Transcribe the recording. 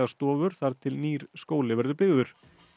stofur þar til nýr skóli verður byggður